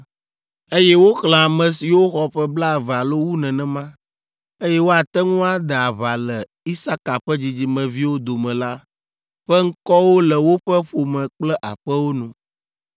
Eye woxlẽ ame siwo xɔ ƒe blaeve alo wu nenema, eye woate ŋu ade aʋa le Isaka ƒe dzidzimeviwo dome la ƒe ŋkɔwo le woƒe ƒome kple aƒewo nu.